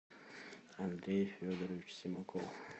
андрей федорович семаков